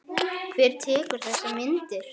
Hver tekur þessar myndir?